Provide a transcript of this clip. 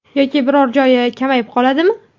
Yoki biror joyi kamayib qoladimi?